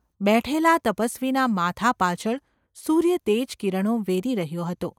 બેઠેલા તપસવીના માથા પાછળ સૂર્ય તેજકિરણો વેરી રહ્યો હતો.